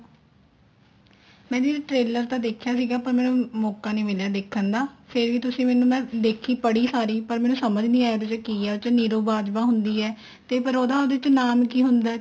ਮੈਂ ਦੀਦੀ trailer ਤਾਂ ਦੇਖਿਆ ਸੀਗਾ ਪਰ ਮੈਨੂੰ ਮੋਕਾ ਨਹੀਂ ਮਿਲਿਆਂ ਦੇਖਣ ਦਾ ਫ਼ੇਰ ਵੀ ਤੁਸੀਂ ਮੈਨੂੰ ਮੈਂ ਦੇਖੀ ਪੜੀ ਸਾਰੀ ਪਰ ਮੈਨੂੰ ਸਮਝ ਨਹੀਂ ਆਈ ਕੀ ਉਹਦੇ ਵਿੱਚ ਕੀ ਏ ਉਹਦੇ ਵਿੱਚ ਨਿਰੂ ਬਾਜਵਾ ਹੁੰਦੀ ਏ ਤੇ ਪਰ ਉਹਦਾ ਉਹਦੇ ਚ ਨਾਮ ਕੀ ਹੁੰਦਾ ਏ